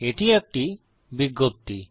এটি একটি বিজ্ঞপ্তি